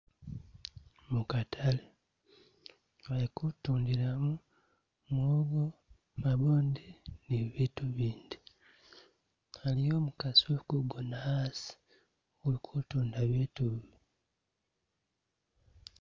Mukatale bali kutundilamo mwoogo, mabwoodi ni bibiitu bindi, a'liyo omukaasi uliku'gona a'asi uli'kutunda biitu bi